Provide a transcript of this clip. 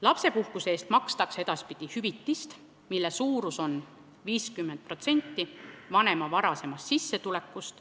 Lapsepuhkuse eest makstakse edaspidi hüvitist, mille suurus on 50% vanema varasemast sissetulekust.